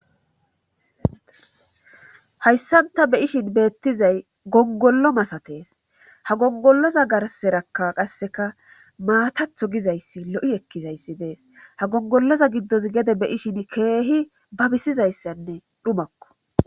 hayssanta be ishin beettizay gongollo masatees ha gongolloza garserakka qasseka maatatho gizayssi lo7i ekkizayssi dees ha gongolloza giddos gede be'ishin keehi babisizayssanne dhumakko